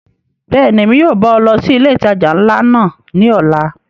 Bẹ́ẹ̀ni, Emi yóò ba ọ lọ si ile itaja nla náa ni ọla.